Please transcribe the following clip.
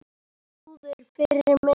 Snúður fyrir mig og þig.